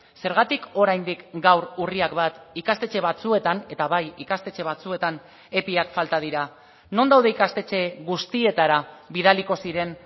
zergatik oraindik gaur urriak bat ikastetxe batzuetan eta bai ikastetxe batzuetan epiak falta dira non daude ikastetxe guztietara bidaliko ziren